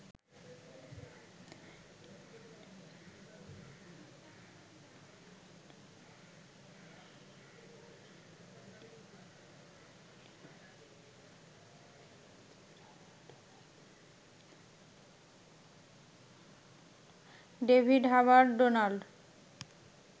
David Hubbard Donald